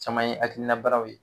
Cama ye akilina baaraw ye